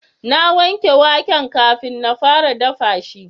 na wanke waken kafin na fara dafa shi